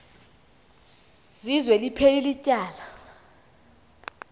zizwe liphelil ityala